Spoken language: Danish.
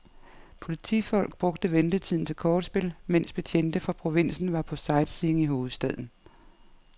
Politifolk brugte ventetiden til kortspil, mens betjente fra provinsen var på sightseeing i hovedstaden.